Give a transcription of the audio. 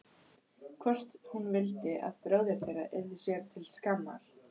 Hvort hún vildi að bróðir þeirra yrði sér til skammar?